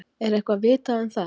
Er eitthvað vitað um það?